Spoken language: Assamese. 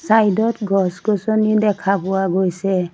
ছাইড ত গছ-গছনি দেখা পোৱা গৈছে।